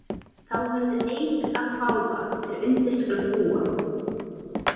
Þá verður eik að fága er undir skal búa.